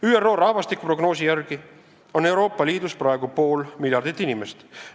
ÜRO rahvastikuprognoosi järgi on Euroopa Liidus praegu pool miljardit inimest.